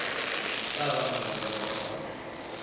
tla ba molemong wa ngwana